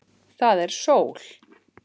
Það er sól.